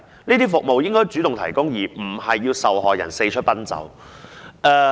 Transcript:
這些服務應該主動提供，而不應讓受害人四出奔走。